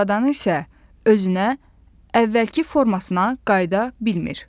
Sonradan isə özünə əvvəlki formasına qayıda bilmir.